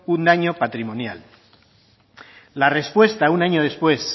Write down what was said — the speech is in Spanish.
un daño patrimonial la respuesta un año después